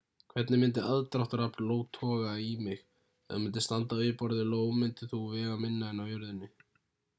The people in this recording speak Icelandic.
hvernig myndi aðdráttarafl io toga í mig ef þú myndir standa á yfirborði io myndir þú vega minna en á jörðinni